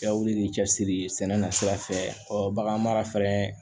Ka wuli k'i cɛsiri sɛnɛ na sira fɛ bagan mara fɛnɛ